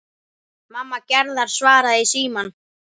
Mamma Gerðar svaraði í símann.